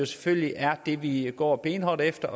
selvfølgelig er det vi går benhårdt efter